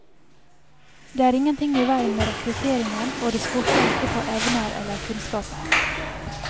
Det er ingenting i veien med rekrutteringen, og det skorter ikke på evner eller kunnskaper.